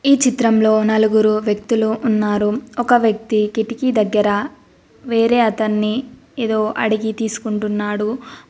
ఈ చిత్రంలో నలుగురు వ్యక్తులు ఉన్నారు ఒక వ్యక్తి కిటికీ దగ్గర వేరే అతన్ని ఏదో అడిగి తీసుకుంటున్నాడు.